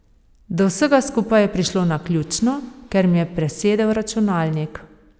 Do vsega skupaj je prišlo naključno, ker mi je presedel računalnik.